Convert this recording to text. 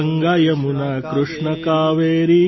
Ganga Yamuna Krishna Kaveri